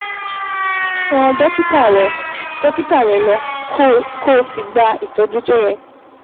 Tọ́ dókítà rẹ dókítà rẹ lọ, kó o sì gba ìtọ́jú tó yẹ